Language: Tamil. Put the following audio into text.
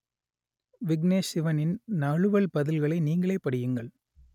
விக்னேஷ் சிவனின் நழுவல் பதில்களை நீங்களே படியுங்கள்